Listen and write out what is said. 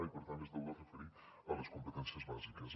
i per tant es deu referir a les competències bàsiques